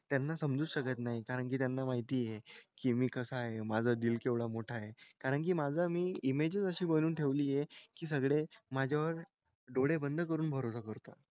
त्यांना समजूच शकत नाही. कारण की त्यांना माहिती आहे की मी कसा आहे. माझं दिल केवढं मोठं आहे. कारण की माझा मी इमेजच अशी बनवून ठेवली आहे की सगळे माझ्यावर डोळे बंद करून भरोसा करतात.